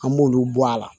An b'olu bɔ a la